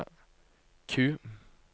Q